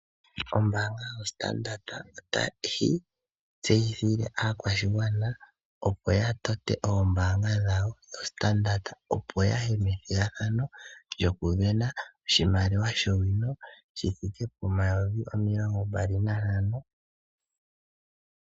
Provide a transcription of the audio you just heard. Ombaanga yoStandard otayi tseyithile aakwashigwana opo ya tote oombaanga dhawo dhoStandard. Opo yaye methigathano lyoku vena oshimaliwa shono shi thike pomayovi omilongo mbali nantano.